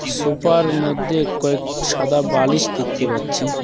Sofa - র মধ্যে কয়েক সাদা বালিশ দেখতে পাচ্ছি।